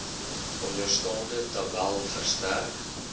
onderstaande tabel verstrek